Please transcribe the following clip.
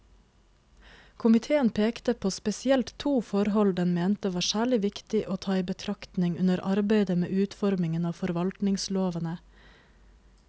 Komiteen pekte på spesielt to forhold den mente var særlig viktig å ta i betraktning under arbeidet med utformingen av forvaltningslovene.